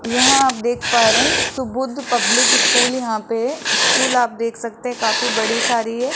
यहां आप देख पा रहे हैं सुबोध पब्लिक स्कूल यहां पे स्कूल आप देख सकते हैं काफी बड़ी सारी है।